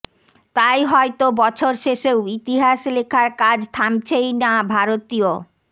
তাই হয়তো বছর শেষেও ইতিহাস লেখার কাজ থামছেই না ভারতীয়